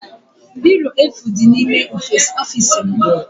Biro efu dị n'ime ọfiisi m